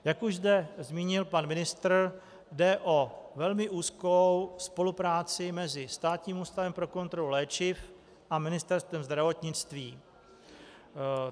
Jak už zde zmínil pan ministr, jde o velmi úzkou spolupráci mezi Státním ústavem pro kontrolu léčiv a Ministerstvem zdravotnictví.